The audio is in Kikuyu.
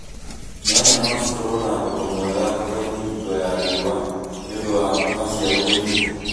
Nyanya no cikorũo na thogora mwega thoko-inĩ hingo ya riũwa nĩũndu wa maciaro kũnyiha